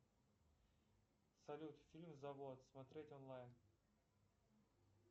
салют фильм завод смотреть онлайн